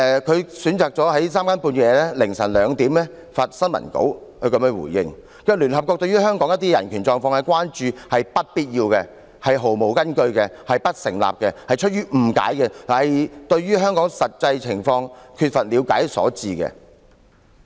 他選擇在三更半夜、凌晨2時發新聞稿，這樣回應："聯合國對於香港一些人權狀況的關注，是不必要、毫無根據、不成立的，是出於誤解和對香港真實情況缺乏了解所致。